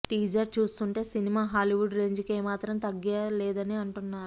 teaser చూస్తుంటే సినిమా Hollywood రేంజికి ఏ మాత్రం తగ్గలేదని అంటున్నారు